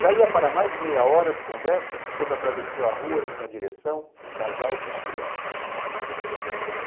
Já ia para mais meia hora de conversa quando atravessou a rua em minha direção um casal com uma criança.